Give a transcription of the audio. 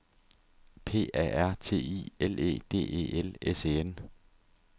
P A R T I L E D E L S E N